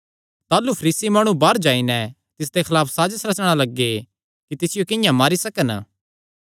ताह़लू फरीसी माणु बाहर जाई नैं तिसदे खलाफ साजस रचणा लग्गे कि तिसियो किंआं मारी सकन